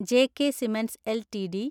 J K Cements LTD